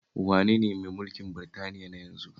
Wane ne mai mulkin Britaniya na yanzu?